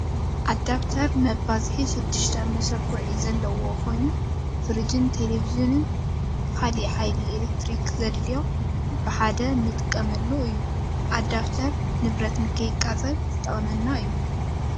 ኣዳብተር መባዝሒ ሽዱሽተ መሸኩዒ ዘለዎ ኮይኑ፡ ፍርጅን ቴሌቪዥን ካልእ ሓይሊ ኤሌክትሪክ ዘድልዮ ብሓደ ንጥቀመሉ እዩ። ኣዳብተር ንብረት ንከይቃፀል ዝጠቅመና እዩ።